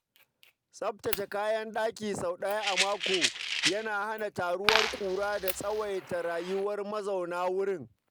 Tsaftace kayan ɗaki sau ɗaya a mako yana hana taruwar ƙura da tsawaita rayuwar mazaunan wurin.